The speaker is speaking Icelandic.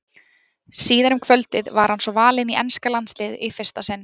Síðar um kvöldið var hann svo valinn í enska landsliðið í fyrsta sinn.